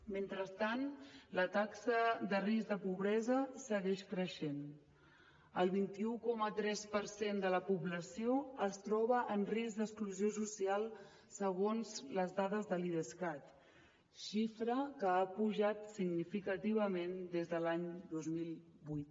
mentrestant la taxa de risc de pobresa segueix creixent el trenta un coma tres per cent de la població es troba en risc d’exclusió social segons les dades de l’idescat xifra que ha pujat significativament des de l’any dos mil vuit